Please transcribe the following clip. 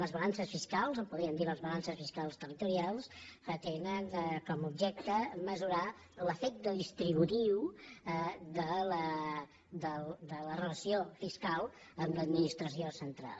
les balances fiscals en podríem dir les balances fiscals territorials tenen com a objecte mesurar l’efecte distributiu de la relació fiscal amb l’administració central